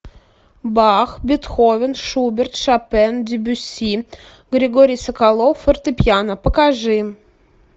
бах бетховен шуберт шопен дебюсси григорий соколов фортепиано покажи